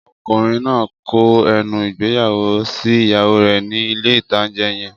Ọkùnrin náà kọ ẹnu ìgbéyàwó sí ìyàwó rẹ̀ ní ilé-ìtánjẹ yẹn